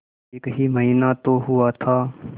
एक ही महीना तो हुआ था